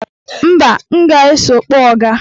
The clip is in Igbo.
Mba, m ga-eso kpọọ ọga.